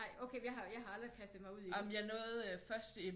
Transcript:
Nej okay jeg har aldrig kastet mig ud i dem